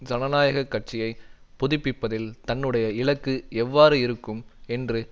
ஜனநாயக கட்சியை புதுப்பிப்பதில் தன்னுடைய இலக்கு எவ்வாறு இருக்கும் என்று